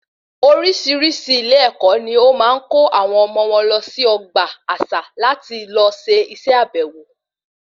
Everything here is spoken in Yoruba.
Orísirísi ilé ẹkọ ní wọn máa ń kó àwọn ọmọ wọn lọ sí ọgbà àṣà láti lọ se ìse àbèwò